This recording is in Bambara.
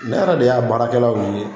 Ne yɛrɛ de y'a baarakɛlaw ɲini.